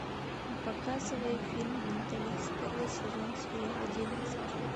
показывай фильм менталист первый сезон серия одиннадцать